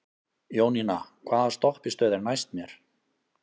Jónína, hvaða stoppistöð er næst mér?